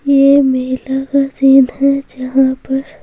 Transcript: ये मेला का सीन है जहां पर--